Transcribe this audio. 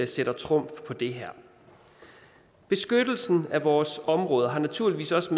sætter trumf på det her beskyttelsen af vores områder har naturligvis også